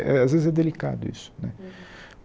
Às vezes é delicado isso né.